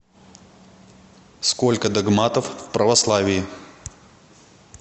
сколько догматов в православии